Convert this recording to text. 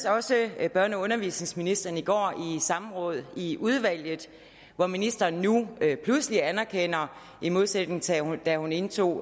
også med børne og undervisningsministeren i går i samråd i udvalget hvor ministeren nu pludselig anerkender i modsætning til da hun indtog